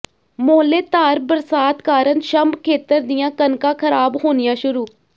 ਮੋਹਲੇਧਾਰ ਬਰਸਾਤ ਕਾਰਨ ਛੰਭ ਖੇਤਰ ਦੀਆਂ ਕਣਕਾਂ ਖਰਾਬ ਹੋਣੀਆਂ ਸ਼ੁਰੂ